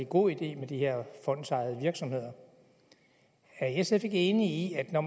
god idé med de her fondsejede virksomheder er sf ikke enig i at når